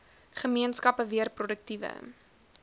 gemeenskappe weer produktiewe